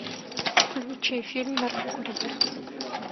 включи фильм наркокурьер